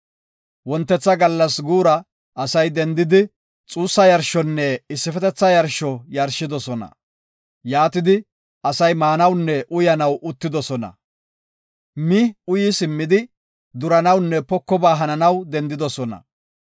Wontetha gallas guura asay dendidi, xuussa yarshonne issifetetha yarsho yarshidosona. Yaatidi, asay maanawunne uyanaw uttidosona. Mi uyi simmidi, duranawunne pokoba hananaw dendidosona.